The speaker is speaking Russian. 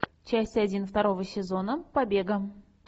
часть один второго сезона побега